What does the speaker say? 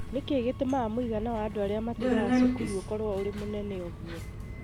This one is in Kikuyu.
Nĩ kĩĩ gĩtũmaga mũigana wa andũ arĩa matigaga cukuru ũkorũo ũrĩ mũnene ũguo?